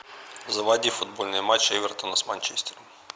заводи футбольный матч эвертона с манчестером